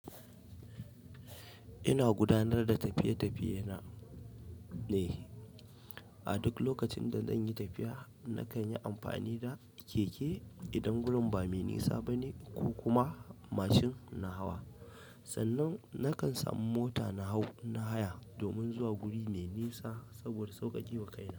Ina gudanar da tafiye-tafiye na, ne. A duk lokacin da zan yi tafiya nakan yi amfani da keke idan gurin ba mai nisa bane ko kuma mashin na hawa. Sannan nakan samu mota na hau na haya, domin zuwa guri mai nisa saboda sauƙaƙewa kaina.